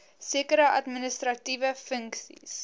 sekere administratiewe funksies